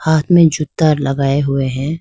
हाथ में जूता लगाए हुए हैं।